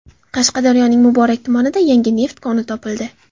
Qashqadaryoning Muborak tumanida yangi neft koni topildi.